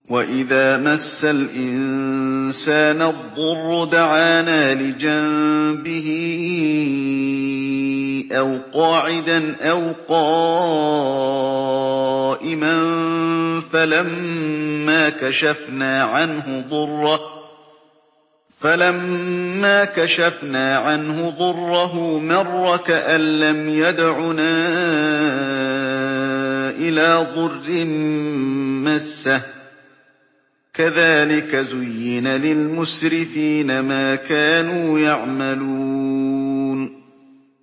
وَإِذَا مَسَّ الْإِنسَانَ الضُّرُّ دَعَانَا لِجَنبِهِ أَوْ قَاعِدًا أَوْ قَائِمًا فَلَمَّا كَشَفْنَا عَنْهُ ضُرَّهُ مَرَّ كَأَن لَّمْ يَدْعُنَا إِلَىٰ ضُرٍّ مَّسَّهُ ۚ كَذَٰلِكَ زُيِّنَ لِلْمُسْرِفِينَ مَا كَانُوا يَعْمَلُونَ